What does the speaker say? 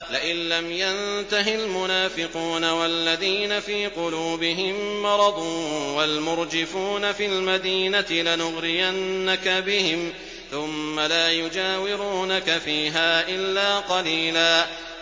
۞ لَّئِن لَّمْ يَنتَهِ الْمُنَافِقُونَ وَالَّذِينَ فِي قُلُوبِهِم مَّرَضٌ وَالْمُرْجِفُونَ فِي الْمَدِينَةِ لَنُغْرِيَنَّكَ بِهِمْ ثُمَّ لَا يُجَاوِرُونَكَ فِيهَا إِلَّا قَلِيلًا